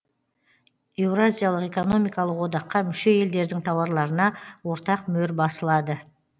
еуразиялық экономикалық одаққа мүше елдердің тауарларына ортақ мөр басылады